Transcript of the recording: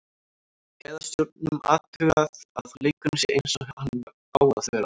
Gæðastjórnun, athugað að leikurinn sé eins og hann á að vera.